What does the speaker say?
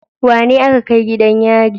Wanene aka kai gidan yari?